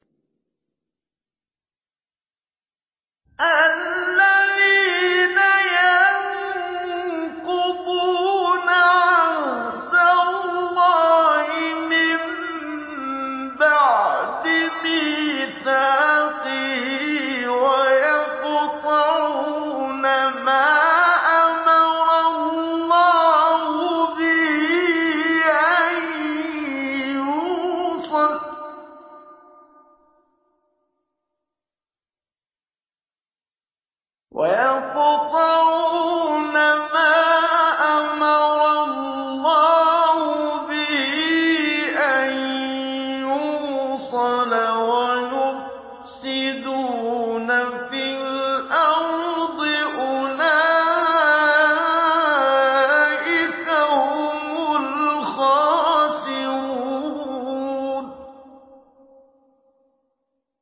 الَّذِينَ يَنقُضُونَ عَهْدَ اللَّهِ مِن بَعْدِ مِيثَاقِهِ وَيَقْطَعُونَ مَا أَمَرَ اللَّهُ بِهِ أَن يُوصَلَ وَيُفْسِدُونَ فِي الْأَرْضِ ۚ أُولَٰئِكَ هُمُ الْخَاسِرُونَ